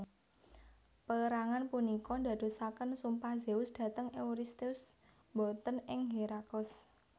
Pérangan punika ndadosaken sumpah Zeus dhateng Euristheus boten ing Herakles